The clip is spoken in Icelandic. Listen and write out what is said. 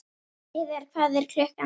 Heiðar, hvað er klukkan?